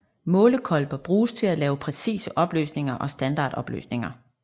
Målekolber bruges til at lave præcise opløsninger og standardopløsninger